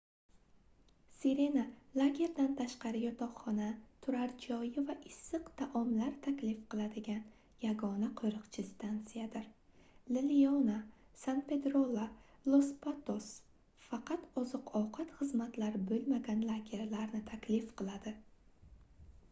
sirena lagerdan tashqari yotoqxona turar joyi va issiq taomlar taklif qiladigan yagona qoʻriqchi stansiyadir la leona san pedrolla los patos faqat oziq-ovqat xizmatlari boʻlmagan lagerlarni taklif qiladi